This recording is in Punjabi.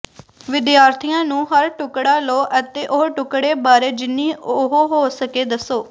ਵਿਦਿਆਰਥੀਆਂ ਨੂੰ ਹਰ ਟੁਕੜਾ ਲਓ ਅਤੇ ਉਹ ਟੁਕੜੇ ਬਾਰੇ ਜਿੰਨੀ ਉਹ ਹੋ ਸਕੇ ਦੱਸੋ